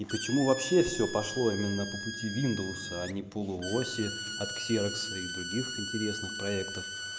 и почему вообще все пошло именно по пути виндовса а не полуоси от ксерокса и других интересных проектов